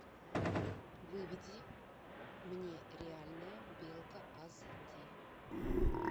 выведи мне реальная белка ас ди